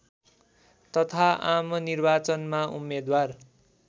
तथा आमनिर्वाचनमा उम्मेद्वार